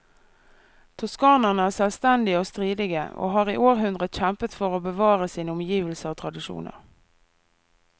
Toskanerne er selvstendige og stridige, og har i århundrer kjempet for å bevare sine omgivelser og tradisjoner.